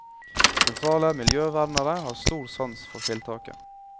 Sentrale miljøvernere har stor sans for tiltaket.